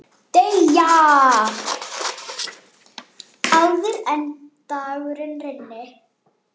Deyja, áður en dagur rynni.